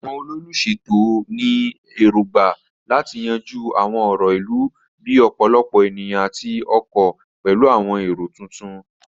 Àwọn olùṣètò ní èrògbà láti yanjú àwọn ọ̀rọ̀ ìlú bíi ọ̀pọ̀lọpọ̀ ènìyàn àti ọkọ̀ pẹ̀lú àwọn èrò tuntun.